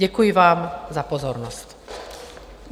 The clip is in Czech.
Děkuji vám za pozornost.